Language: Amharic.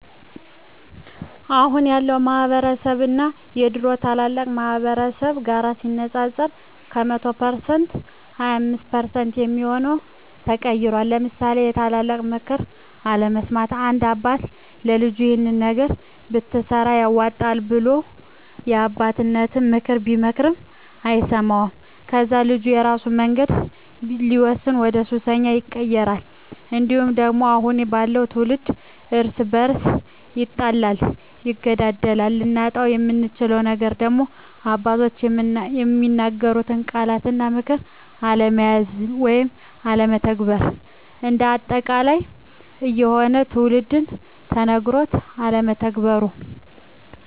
አሁን ያለው ማህበረስብ እና የድሮ ታላላቅ ማህበረሰብ ጋር ሲነፃፀር ከ100% 25% የሚሆው ተቀይሯል ለምሳሌ የታላላቅ ምክር አለመስማት፦ አንድ አባት ለልጁ ይሄን ነገር ብትሰራ ያዋጣሀል ብሎ የአባቴነተን ምክር ቢመክረው አይሰማውም ከዛ ልጁ በራሱ መንገድ ሲወስን ወደሱሰኛ ይቀየራል። እንዲሁም ደግሞ አሁን ያለው ትውልድ እርስ በርሱ ይጣላል ይገዳደላል። ልናጣው የምንችለው ነገር ደግሞ አባቶች የሚናገሩትን ቃላት እና ምክር አለመያዝ ወይም አለመተግበር። እንደ አጠቃላይ የአሁኑ ትውልድ ተነገሮ አለመተግበሩ